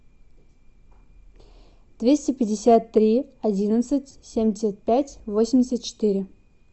двести пятьдесят три одиннадцать семьдесят пять восемьдесят четыре